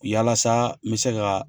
Yalasa n be se ka